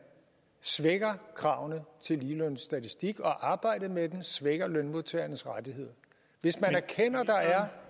svækker kravene til ligelønsstatistik og arbejdet med den altså svækker lønmodtagernes rettigheder hvis man erkender at der er